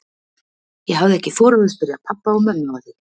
Ég hafði ekki þorað að spyrja pabba og mömmu að því.